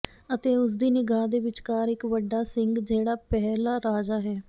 ਅਤੇ ਉਸ ਦੀ ਨਿਗਾਹ ਦੇ ਵਿਚਕਾਰ ਇੱਕ ਵੱਡਾ ਸਿੰਗ ਜਿਹੜਾ ਪਹਿਲਾ ਰਾਜਾ ਹੈ